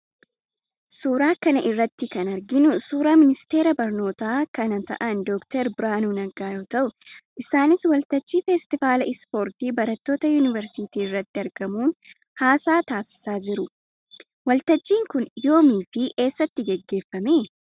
Suuraa kana irratti kana arginu suuraa ministeera barnoota kana ta'an Dr. Birhaanuu Naggaa yoo ta'u, isaanis waltajjii feestivaala ispoortii barattoota yuunivarsiitii irratti argamuun haasaa taasisaa jiru. Waltajjiin kun yoomii fi eessatti geggeeffame?